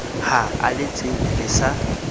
ha a letsebe le sa